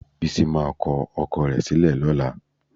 Bísí máa kọ ọkọ rẹ̀ sílẹ̀ lọ́la.